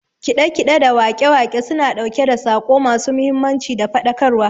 Kiɗe kiɗe da waƙe waƙe suna ɗauke da saƙo ma su mahimmanci da faɗakar wa